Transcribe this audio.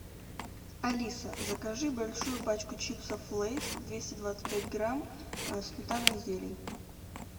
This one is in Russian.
алиса закажи большую пачку чипсов лейс двести двадцать пять грамм сметана и зелень